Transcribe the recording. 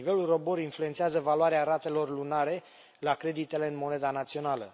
Nivelul ROBOR influențează valoarea ratelor lunare la creditele în moneda națională.